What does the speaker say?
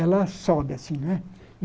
Ela sobe assim, né?